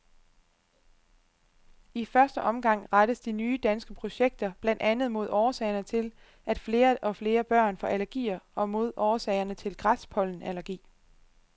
I første omgang rettes de nye danske projekter blandt andet mod årsagerne til, at flere og flere børn får allergier og mod årsagerne til græspollenallergi.